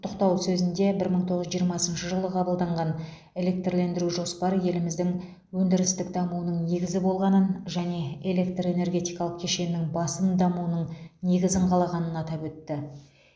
құттықтау сөзінде бір мың тоғыз жүз жиырмасыншы жылы қабылданған электрлендіру жоспары еліміздің өндірістік дамуының негізі болғанын және электр энергетикалық кешеннің басым дамуының негізін қалағанын атап өтті